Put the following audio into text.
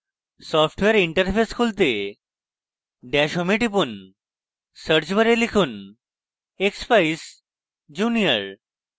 software interface খুলতে dash home এ টিপুন search bar লিখুন: expeyes junior